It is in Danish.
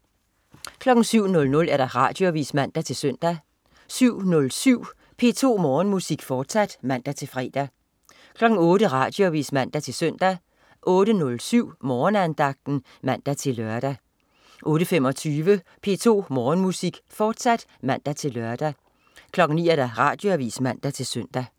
07.00 Radioavis (man-søn) 07.07 P2 Morgenmusik, fortsat (man-fre) 08.00 Radioavis (man-søn) 08.07 Morgenandagten (man-lør) 08.25 P2 Morgenmusik, fortsat (man-lør) 09.00 Radioavis (man-søn)